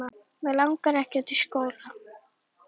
Mig langar ekkert í skóla.